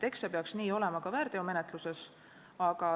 Eks see peaks nii olema ka väärteomenetluses.